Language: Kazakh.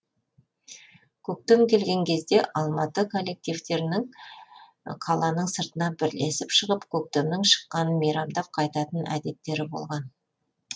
көктем келген кезде алматы коллективтерінің қаланың сыртына бірлесіп шығып көктемнің шыққанын мейрамдап қайтатын әдеттері болатын